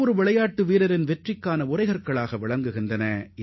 விளையாட்டு வீரர்களின் தைரியத்தை பரிசோதிப்பதற்கு இவை அவசியம்